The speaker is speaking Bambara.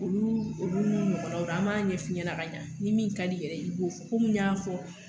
Olu olu ɲɔgɔnna an m'a ɲɛf'i ɲɛna ka ɲa ni min ka d'i yɛrɛ ye i b'o fɔ komi n y'a fɔ.